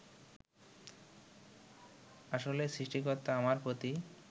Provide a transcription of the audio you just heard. আসলে সৃষ্টিকর্তা আমার প্রতি